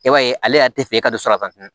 I b'a ye ale yɛrɛ tɛ fɛ e ka don so la